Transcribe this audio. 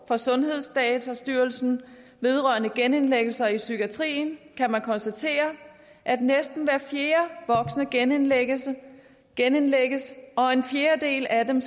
fra sundhedsdatastyrelsen vedrørende genindlæggelser i psykiatrien kan man konstatere at næsten hver fjerde voksne genindlægges genindlægges og at en fjerdedel af dem